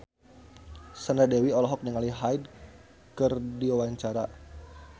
Sandra Dewi olohok ningali Hyde keur diwawancara